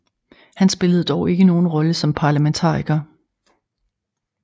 Han spillede dog ikke nogen rolle som parlamentariker